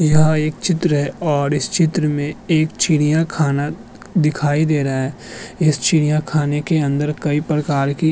यह एक चित्र है और इस चित्र में एक चिड़ियाखाना दिखाई दे रहा है इस चिड़ियाखाना के अंदर कई प्रकार की --